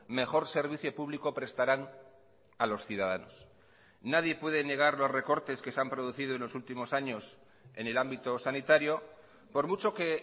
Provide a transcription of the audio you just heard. mejor servicio público prestarán a los ciudadanos nadie puede negar los recortes que se han producido en los últimos años en el ámbito sanitario por mucho que